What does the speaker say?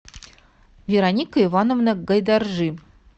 вероника ивановна гайдаржи